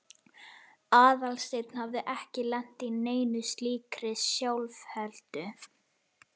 Aðalsteinn hafði ekki lent í neinni slíkri sjálfheldu.